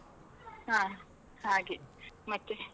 ಹಾ, ಹಾಗೆ ಮತ್ತೆ.